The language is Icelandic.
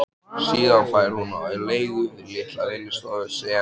Síðan fær hún á leigu litla vinnustofu sem